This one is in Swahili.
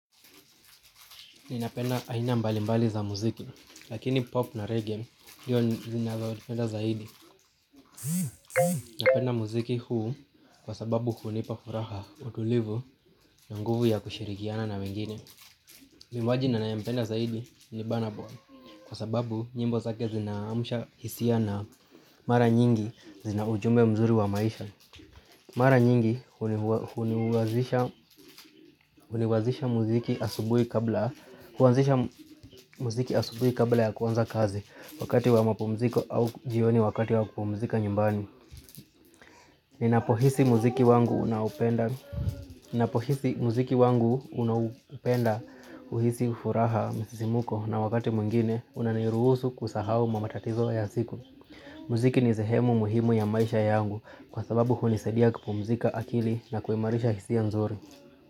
Ninapenda aina mbalimbali za muziki, lakini pop na reggae ndizo ninazopenda zaidi. Napenda muziki huu kwa sababu hunipa furaha utulivu na nguvu ya kushirikiana na wengine. Mwimbaji na ninayempenda zaidi ni Burna Boy, kwa sababu nyimbo zake zinaamsha hisia na mara nyingi zina ujumbe mzuri wa maisha. Mara nyingi huliwazisha mziki asubuhi kabla mziki asubuhi kabla ya kuanza kazi wakati wa mapumziko au jioni wakati wa kupumzika nyumbani. Ninapohisi muziki wangu unaopenda, uhisi ufuraha msisimko na wakati mwingine unaniruhusu kusahau matatizo ya siku. Muziki ni sehemu muhimu ya maisha yangu, kwa sababu hunisadia kupumzika akili na kuimarisha hisia nzuri.